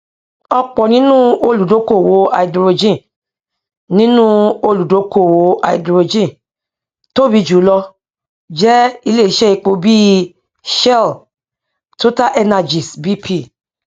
ọpọ nínú olùdókóòwò háídírójìn nínú olùdókóòwò háídírójìn tóbi jùlọ jẹ ilé iṣẹ epo bíi shell totalenergies bp